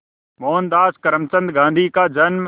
मोहनदास करमचंद गांधी का जन्म